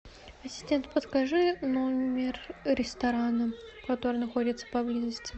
ассистент подскажи номер ресторана который находится поблизости